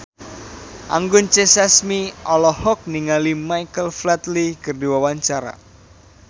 Anggun C. Sasmi olohok ningali Michael Flatley keur diwawancara